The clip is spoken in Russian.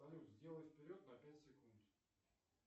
салют сделай вперед на пять секунд